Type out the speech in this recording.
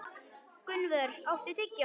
Gunnvör, áttu tyggjó?